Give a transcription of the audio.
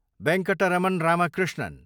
Venkataramana Ramakrishnan